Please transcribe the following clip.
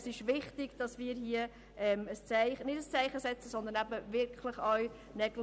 Es ist wichtig, dass wir hier Nägel mit Köpfen machen.